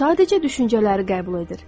O sadəcə düşüncələri qəbul edir.